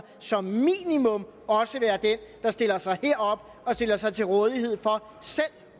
som minimum også være den der stiller sig herop og stiller sig til rådighed for selv